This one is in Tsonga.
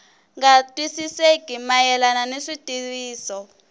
nga twisisekeki mayelana ni xitiviso